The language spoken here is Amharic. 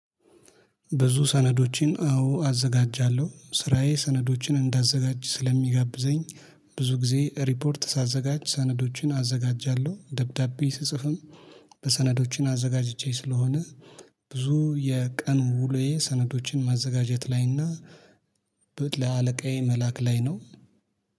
ብዙ ሰነዶችን አዘጋጃለሁ ስራዬ ሰነዶችን እንዳዘጋጅ ስለሚጋብዘኝ ብዙ ጊዜ ሪፖርት ሳዘጋጅ ሰነዶችን አዘጋጃለሁ ደብዳቤ ስጽፍም በሰነዶችን አዘጋጅቼ ስለሆነ። ብዙ የቀን ውሎዬ ሰነዶችን ማዘጋጀት ላይና ለአለቃዬ መላክ ላይ ነው